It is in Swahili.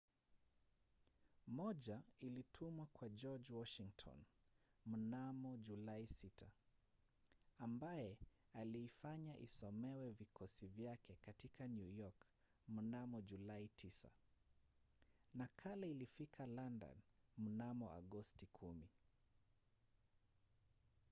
moja ilitumwa kwa george washington mnamo julai 6 ambaye aliifanya isomewe vikosi vyake katika new york mnamo julai 9. nakala ilifika london mnamo agosti 10